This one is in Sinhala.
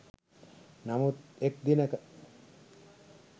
නමුත් එක් දිනක